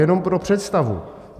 Jenom pro představu.